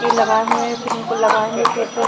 पेड़ लागए हुए है और फिर उनको लगाएगे खेतों--